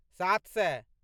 सात सए